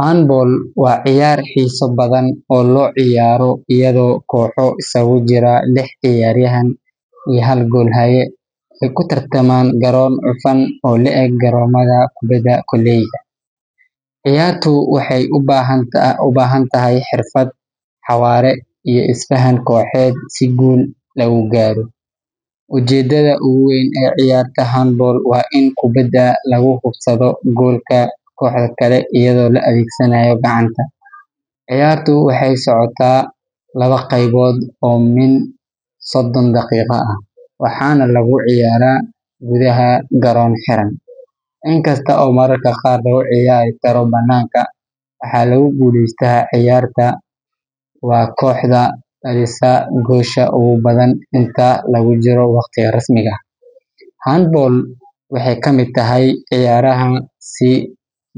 Handball waa ciyaar xiiso badan oo loo ciyaaro iyadoo kooxo isagu jira lix ciyaaryahan iyo hal goolhaye ay ku tartamaan garoon cufan oo le’eg garoomada kubadda kolayga. Ciyaartu waxay u baahan tahay xirfad, xawaare, iyo isfahan kooxeed si guul lagu gaaro. Ujeeddada ugu weyn ee ciyaarta handball waa in kubbadda lagu hubsado goolka kooxda kale iyadoo la adeegsanayo gacanta. Ciyaartu waxay socotaa laba qeybood oo min soddon daqiiqo ah, waxaana lagu ciyaaraa gudaha garoon xiran, inkasta oo mararka qaar lagu ciyaari karo bannaanka. Waxa lagu guuleysto ciyaarta waa kooxda dhalisa goolasha ugu badan inta lagu jiro waqtiga rasmiga ah. Handball waxay ka mid tahay ciyaaraha si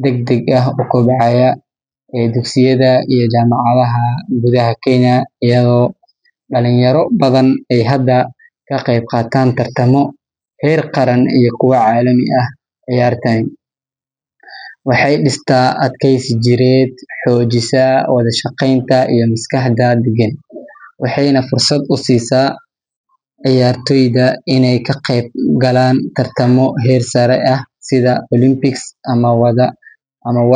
degdeg ah u kobcaya ee dugsiyada iyo jaamacadaha gudaha Kenya, iyadoo dhalinyaro badan ay hadda ka qayb qaataan tartamo heer qaran iyo kuwa caalami ah. Ciyaartani waxay dhistaa adkaysi jireed, xoojisaa wada shaqaynta iyo maskaxda deggen, waxayna fursad u siisaa ciyaartoyda inay ka qeyb galaan tartamo heer sare ah sida Olympics ama.